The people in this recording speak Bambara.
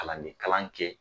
Kalanden kalan kɛ